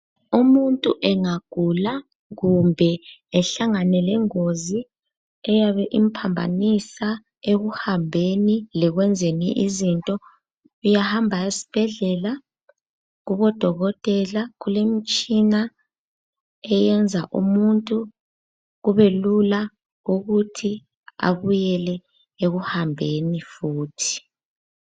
Umuntu engagula kumbe ehlangane lengozi eyabe imphambanisa ekuhambeni lekwenzeni izinto, uyahamba esibhedlela kubodokotela kulemitshina eyenza umuntu kubelula ukuthi abuyele ekuhambeni futhi.